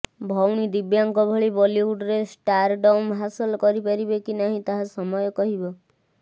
ଭଉଣୀ ଦିବ୍ୟାଙ୍କ ଭଳି ବଲିଉଡରେ ଷ୍ଟାରଡମ ହାସଲ କରିପାରିବେ କି ନାହିଁ ତାହା ସମୟ କହିବ